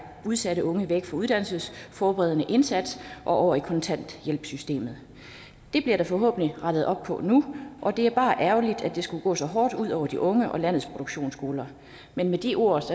udsatte unge væk fra uddannelsesforberedende indsats og over i kontanthjælpssystemet det bliver der forhåbentlig rettet op på nu og det er bare ærgerligt at det skulle gå så hårdt ud over de unge og landets produktionsskoler men med de ord